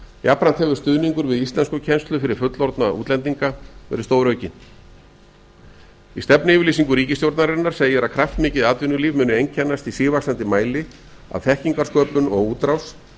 jafnframt hefur stuðningur við sielsnkukennslu fyrir fullorðna útlendinga verið stóraukinn í stefnuyrirlýsignu ríkisstjórnarinnar segir að kraftmikið atvinnulíf muni einkennast í sívaxandi mæli af þekkingarsköpun og útrás